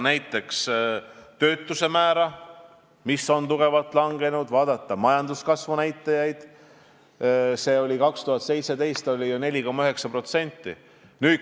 Näiteks on töötuse määr tugevalt langenud ja majanduskasv oli 2017 ju 4,9%.